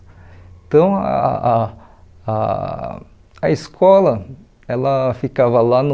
Então, ah ah a escola, ela ficava lá no...